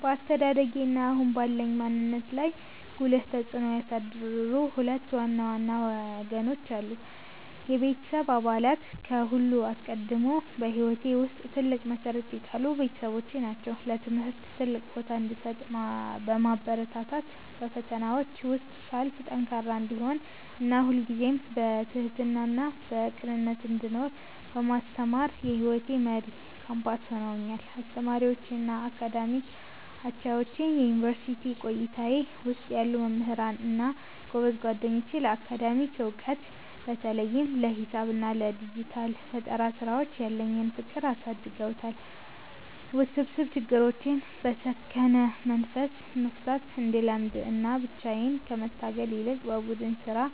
በአስተዳደጌ እና አሁን ባለኝ ማንነት ላይ ጉልህ ተጽዕኖ ያሳደሩ ሁለት ዋና ዋና ወገኖች አሉ፦ የቤተሰቤ አባላት፦ ከሁሉ አስቀድሞ በሕይወቴ ውስጥ ትልቅ መሠረት የጣሉት ቤተሰቦቼ ናቸው። ለትምህርት ትልቅ ቦታ እንድሰጥ በማበረታታት፣ በፈተናዎች ውስጥ ሳልፍ ጠንካራ እንድሆን እና ሁልጊዜም በትሕትናና በቅንነት እንድኖር በማስተማር የሕይወቴ መሪ ኮምፓስ ሆነውኛል። አስተማሪዎቼ እና የአካዳሚክ አቻዎቼ፦ በዩኒቨርሲቲ ቆይታዬ ውስጥ ያሉ መምህራን እና ጎበዝ ጓደኞቼ ለአካዳሚክ ዕውቀት (በተለይም ለሂሳብ እና ለዲጂታል ፈጠራ ሥራዎች) ያለኝን ፍቅር አሳድገውታል። ውስብስብ ችግሮችን በሰከነ መንፈስ መፍታት እንድለምድ እና ብቻዬን ከመታገል ይልቅ በቡድን ሥራና